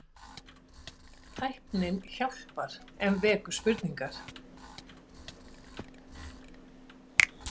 Tæknin hjálpar en vekur spurningar